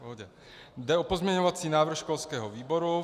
Jde o pozměňovací návrh školského výboru.